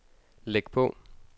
læg på